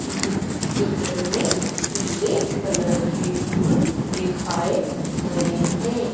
इस चित्र में पीले कलर के फूल दिखाएं गए हैं।